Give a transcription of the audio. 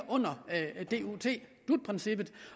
dut princippet